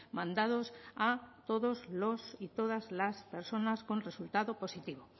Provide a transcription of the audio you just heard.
mandados a todos los y todas las personas con resultado positivo